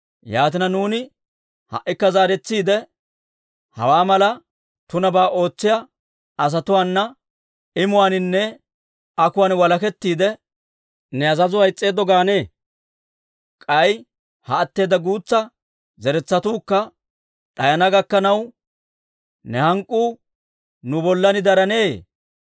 Yaatina, nuuni ha"ikka zaaretsiide, hawaa mala tunabaa ootsiyaa asatuwaana imuwaaninne akuwaan walakettiide, ne azazuwaa is's'eeddo gaanee? K'ay ha atteeda guutsa zeretsatuukka d'ayana gakkanaw, ne hank'k'uu nu bollan darenneeyye?